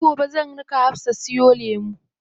Sai gobe zan raka Hafsa siyo lemu.